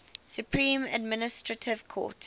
supreme administrative court